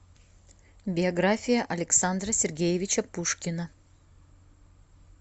биография александра сергеевича пушкина